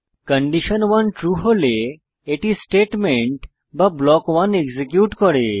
condition 1 true হলে এটি statement বা ব্লক 1 এক্সিকিউট করে